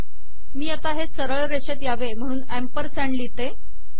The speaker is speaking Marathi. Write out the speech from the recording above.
मी आता हे सरळ रेषेत यावे म्हणून अँपरसँड लिहिते